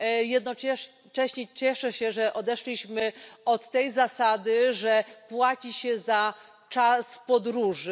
Jednocześnie cieszę się, że odeszliśmy od tej zasady, że płaci się za czas podróży.